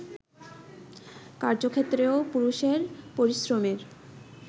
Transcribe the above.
কার্যক্ষেত্রেও পুরুষের পরিশ্রমের